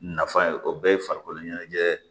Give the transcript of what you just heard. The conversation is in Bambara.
Nafa ye o bɛɛ ye farikolo ɲɛnajɛ